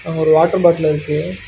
அங்க ஒரு water bottle இருக்கு.